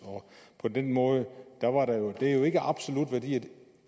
på den måde er det jo ikke absolutte værdier